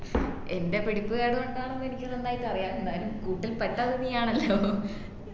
എൻ്റെ പിടിപ്പ്കേട് കൊണ്ടാണെന്നു എനിക്ക് നന്നായിട്ട് അറിയ ന്നാലും കൂട്ടിൽ പെട്ടത് നീയാണല്ലോ